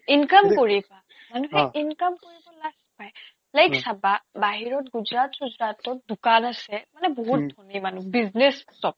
income কৰিবা অ মানুহে income কৰিব লাজ পাই অ like চাবা বাহিৰত গুজৰাট চুজৰাটত দোকান আছে মানে অ বহুত ধনী মানুহ business চব